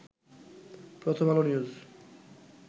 প্রথম আলো নিউজ